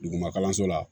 Duguma kalanso la